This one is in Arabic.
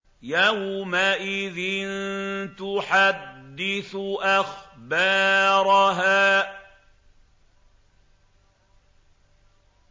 يَوْمَئِذٍ تُحَدِّثُ أَخْبَارَهَا